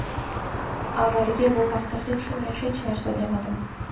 Avvaliga bu haqda hech kimga hech narsa demadim.